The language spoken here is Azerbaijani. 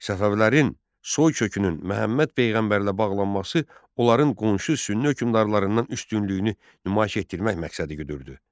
Səfəvilərin soykökünün Məhəmməd peyğəmbərlə bağlanması onların qonşu sünni hökmdarlarından üstünlüyünü nümayiş etdirmək məqsədi güdüldü.